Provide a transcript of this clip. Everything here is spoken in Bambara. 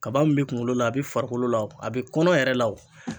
Kaba min be kungolo la a be farikolo la o a be kɔnɔ yɛrɛ la o